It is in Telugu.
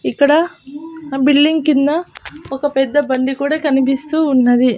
ఇక్కడ బిల్డింగ్ కింద ఒక పెద్ద బండి కూడా కనిపిస్తూ ఉన్నది.